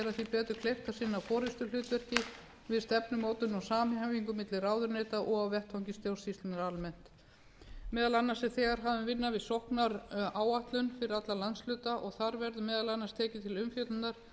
betur kleift að sinna forustuhlutverki við stefnumótun og samhæfingu milli ráðuneyta og á vettvangi stjórnsýslunnar almennt meðal annars er þegar hafin vinna við sóknaráætlun fyrir alla landshluta og þar verður meðal annars tekið til umfjöllunar hvernig